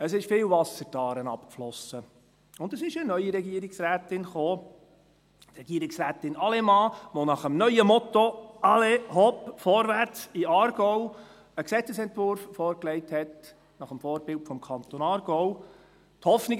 Es floss viel Wasser die Aare hinunter und es kam eine neue Regierungsrätin: Regierungsrätin Allemann, die nach dem neuen Motto «allez, hopp, vorwärts in den Aargau» einen Gesetzesentwurf nach dem Vorbild des Kantons Aargau vorlegte.